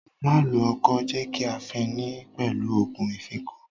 Má lo ọkọ́, jẹ́ kí a fin ni pẹ̀lú òògun ìfínko!